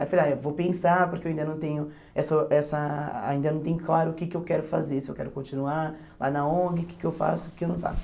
Aí eu falei, ah vou pensar, porque eu ainda não tenho essa essa ainda não tenho claro o que que eu quero fazer, se eu quero continuar lá na ONG, o que que eu faço, o que eu não faço.